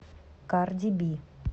карди би